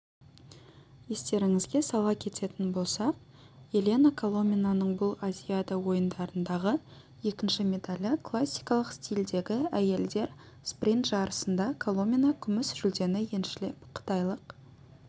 естеріңізге сала кететін болсақ елена коломинаның бұл азиада ойындарындағы екінші медалі классикалық стильдегі әйелдер спринт жарысында коломина күміс жүлдені еншілеп қытайлық